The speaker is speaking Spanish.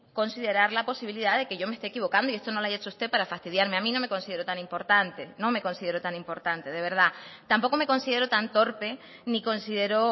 considerar la posibilidad de que yo me esté equivocando y esto no lo haya hecho usted para fastidiarme a mí no me considero tan importante de verdad tampoco me considero tan torpe ni considero